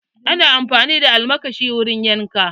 Ana amfani da almakashi wurin yanka